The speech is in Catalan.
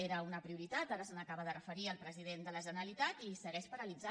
era una prioritat ara s’hi acaba de referir el president de la generalitat i segueix paralitzada